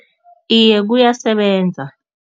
Iye, kuyasebenza.